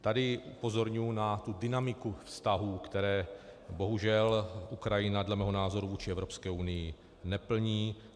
Tady upozorňuju na tu dynamiku vztahů, které bohužel Ukrajina dle mého názoru vůči Evropské unii neplní.